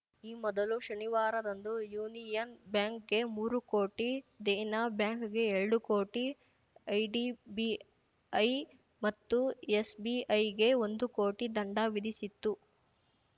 ಈ ಮೊದಲು ಶನಿವಾರದಂದು ಯೂನಿಯನ್ ಬ್ಯಾಂಕ್‌ಗೆ ಮೂರು ಕೋಟಿ ದೇನಾ ಬ್ಯಾಂಕ್‌ಗೆ ಎರಡು ಕೋಟಿ ಐಡಿಬಿಐ ಮತ್ತು ಎಸ್‌ಬಿಐಗೆ ಒಂದು ಕೋಟಿ ದಂಡ ವಿಧಿಸಿತ್ತು